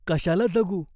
कशाला जगू ?